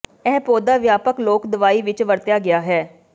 ਇਹ ਪੌਦਾ ਵਿਆਪਕ ਲੋਕ ਦਵਾਈ ਵਿੱਚ ਵਰਤਿਆ ਗਿਆ ਹੈ